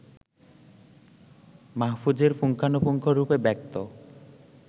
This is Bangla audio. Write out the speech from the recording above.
মাহফুজের পুঙ্খানুপুঙ্খরূপে ব্যক্ত